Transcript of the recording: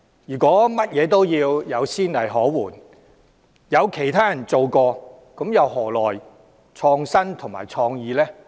如果任何事情均要有先例可援，有其他人做過才做，又何來創新和創意？